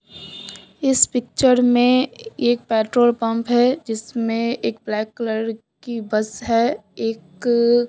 इस पिक्चर में एक पेट्रोल पंप है जिसमें एक ब्लैक कलर की बस है एक।